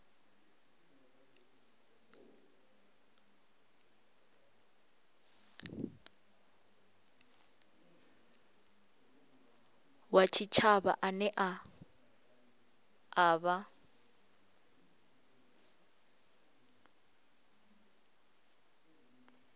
wa tshitshavha ane a vha